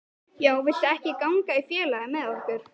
Já, viltu ekki ganga í félagið með okkur?